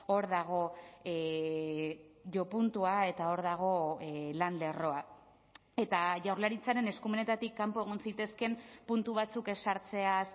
hor dago jopuntua eta hor dago lan lerroa eta jaurlaritzaren eskumenetatik kanpo egon zitezkeen puntu batzuk ezartzeaz